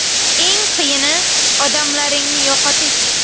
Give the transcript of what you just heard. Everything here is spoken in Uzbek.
Eng qiyini odamlaringni yo‘qotish.